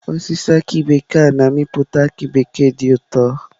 Osisi aki bekee a na-amịpụta aki bekee dị ụtọ.